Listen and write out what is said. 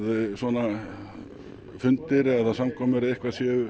svona fundir eða samkomur eða eitthvað séu